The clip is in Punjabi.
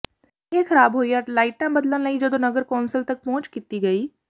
ਇਹ ਖਰਾਬ ਹੋਈਆਂ ਲਾਈਟਾਂ ਬਦਲਣ ਲਈ ਜਦੋਂ ਨਗਰ ਕੌਂਸਲ ਤੱਕ ਪਹੁੰਚ ਕੀਤੀ ਗਈ